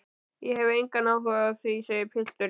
Ég hef engan áhuga á því, segir pilturinn.